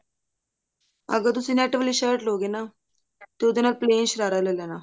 ਅਗਰ ਤੂਸੀਂ net ਵਾਲੀ shirt ਲਉਗੇ ਨਾ ਤੇ ਉਹਦੇ ਨਾਲ plan ਸ਼ਰਾਰਾ ਲੈ ਲੈਣਾ